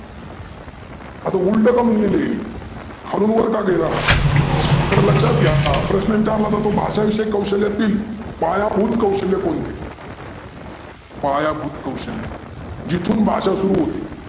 आता उल्ट काहून लिहीलं हे? हनुमंत लेवला, तर लक्षात घ्या प्रश्न विचारला तो भाषा विषय कौशल्यातील पायाभूत कौशल्य कोणते? पायाभूत कौशल्य जिथून भाषा सुरू होते.